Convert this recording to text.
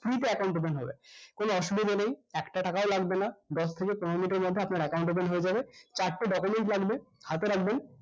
free তে account open হবে কোনো অসুবিধা নেই একটা টাকাও লাগবে না দশ থেকে পনেরো minute এর মধ্যে আপনার account open হয়ে যাবে চারটে document লাগবে হাতে রাখবেন